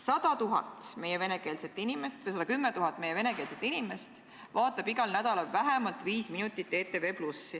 110 000 meie venekeelset inimest vaatavad igal nädalal vähemalt viis minutit ETV+.